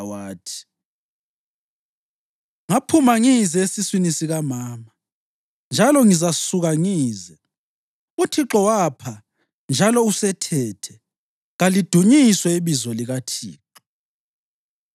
wathi: “Ngaphuma ngize esiswini sikamama, njalo ngizasuka ngize. UThixo wapha njalo usethethe; kalidunyiswe ibizo likaThixo.”